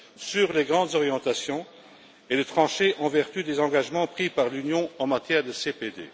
sur les grandes orientations et de trancher en vertu des engagements pris par l'Union en matière de CPD.